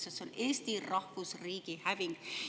See on Eesti rahvusriigi häving.